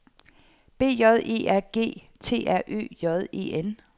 B J E R G T R Ø J E N